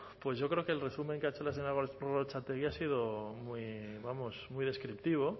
pues yo creo que el resumen que ha hecho la señora gorrotxategi ha sido muy descriptivo